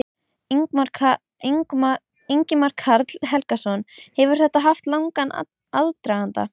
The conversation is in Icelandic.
Ingimar Karl Helgason: Hefur þetta haft langan aðdraganda?